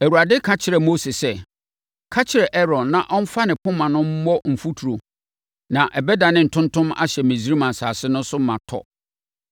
Na Awurade ka kyerɛɛ Mose sɛ, “Ka kyerɛ Aaron na ɔmfa ne poma no mmɔ mfuturo na ɛbɛdane ntontom ahyɛ Misraim asase no so ma tɔ.”